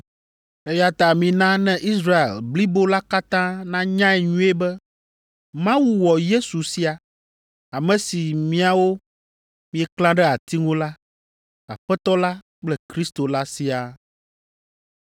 “Eya ta mina ne Israel blibo la katã nanyae nyuie be Mawu wɔ Yesu sia, ame si miawo mieklã ɖe ati ŋu la, Aƒetɔ la kple Kristo la siaa.”